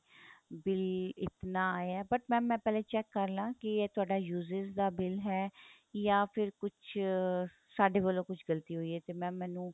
bill ਇਤਨਾ ਆਇਆ but mam ਮੈਂ ਪਹਿਲੇ check ਕ਼ਰ ਲਾ ਕੀ ਇਹ ਤੁਹਾਡਾ uses ਦਾ bill ਹੈ ਜਾਂ ਫ਼ਿਰ ਕੁੱਝ ਸਾਡੇ ਵੱਲੋ ਕੁੱਝ ਗਲਤੀ ਹੋਈ ਏ ਤੇ mam ਮੈਂਨੂੰ